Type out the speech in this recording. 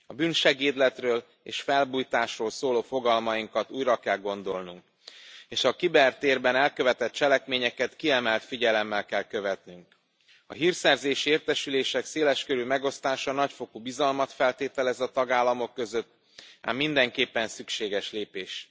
A bűnsegédletről és felbujtásról szóló fogalmainkat újra kell gondolnunk és a kibertérben elkövetett cselekményeket kiemelt figyelemmel kell követnünk. A hírszerzési értesülések széleskörű megosztása nagyfokú bizalmat feltételez a tagállamok között, ám mindenképpen szükséges lépés.